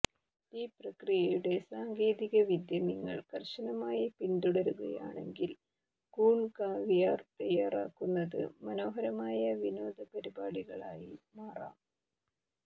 ഈ പ്രക്രിയയുടെ സാങ്കേതികവിദ്യ നിങ്ങൾ കർശനമായി പിന്തുടരുകയാണെങ്കിൽ കൂൺ കാവിയാർ തയ്യാറാക്കുന്നത് മനോഹരമായ വിനോദപരിപാടികളായി മാറാം